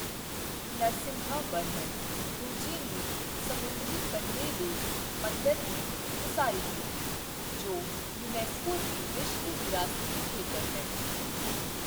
ਨਰਸਿਮਹਵਰਮਨ ਦੂਜੇ ਨੇ ਸਮੁੰਦਰੀ ਕੰਢੇ ਦੇ ਮੰਦਰ ਦੀ ਉਸਾਰੀ ਕੀਤੀ, ਜੋ ਯੂਨੈਸਕੋ ਦੀ ਵਿਸ਼ਵ ਵਿਰਾਸਤੀ ਖੇਤਰ ਹੈ।